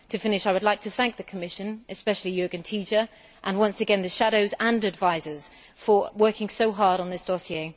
To finish, I would like to thank the Commission, especially Jürgen Tiedje and once gain the shadows and advisers for working so hard on this dossier.